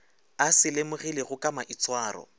a se lemogilego ka maitshwaro